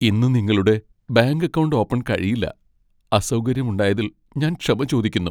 ഇന്ന് നിങ്ങളുടെ bank account open കഴിയില്ല. അസൗകര്യമുണ്ടായതിൽ ഞാൻ ക്ഷമ ചോദിക്കുന്നു.